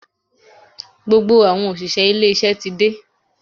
Gbogbo àwọn òṣìṣẹ́ ilé iṣẹ́ ti dé.